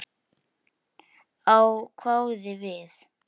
Ég hváði við.